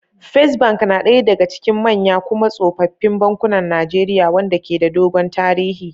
First Bank na daya daga cikin manya kuma tsofaffin bankunan Najeriya, wanda ke da dogon tarihi.